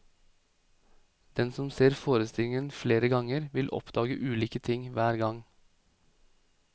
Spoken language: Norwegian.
Den som ser forestillingen flere ganger, vil oppdage ulike ting hver gang.